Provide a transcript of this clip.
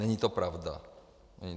Není to pravda.